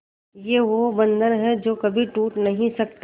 ये वो बंधन है जो कभी टूट नही सकता